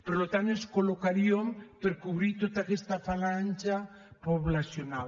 per tant ens col·locaríem per cobrir tota aquesta franja poblacional